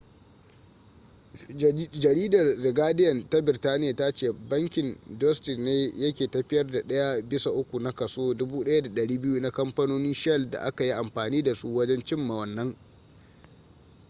jaridar the guardian ta birtaniya ta ce bankin deutsche ne yake tafiyar da daya bisa uku na kaso 1200 na kamfanonin shell da aka yi amfani da su wajen cimma wannan